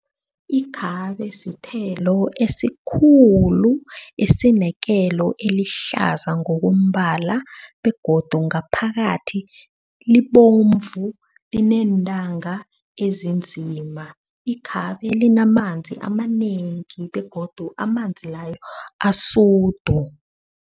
Ikhabe sithelo esikhulu esinekelo elihlaza ngokombala begodu ngaphakathi libomvu lineentanga ezinzima. Ikhabe linamanzi amanengi begodu amanzi layo asudu.